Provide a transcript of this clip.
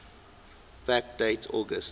fact date august